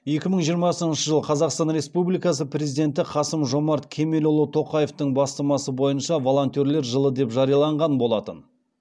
екі мың жиырмасыншы жыл қазақстан республикасы президенті қасым жомарт кемелұлы тоқаевтың бастамасы бойынша волонтерлер жылы деп жарияланған болатын